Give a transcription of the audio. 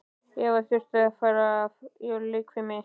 Eva þurfti að fara í leikfimi.